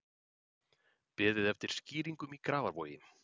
Beðið eftir skýringum í Grafarvogi